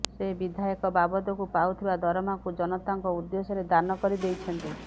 ସେ ବିଧାୟକ ବାବଦକୁ ପାଉଥିବା ଦରମାକୁ ଜନତାଙ୍କ ଉଦ୍ଦେଶ୍ୟରେ ଦାନ କରିଦେଇଛନ୍ତି